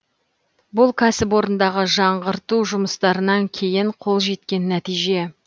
бұл кәсіпорындағы жаңғырту жұмыстарынан кейін қол жеткен нәтиже